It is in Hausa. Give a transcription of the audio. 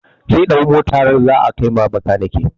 zai ɗau Motar zaa kai wa bakanike.